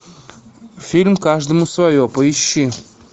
фильм каждому свое поищи